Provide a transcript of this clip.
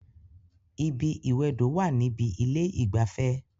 Ibi ìwẹdò wà níbi ilé ìgbafẹ́